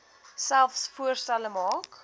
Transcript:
selfs voorstelle maak